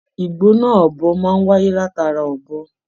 Igbona ọbọ máa n wáyé látara ọbọ.